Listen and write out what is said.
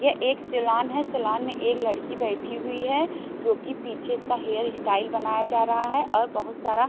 ये एक सीलोन है सीलोन में एक लड़की बैठी हुई है जो कि पीछे इसका हेअर स्टाइल बनाया जा रहा है और बहुत सारा--